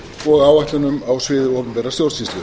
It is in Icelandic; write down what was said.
og áætlunum á sviði opinberrar stjórnsýslu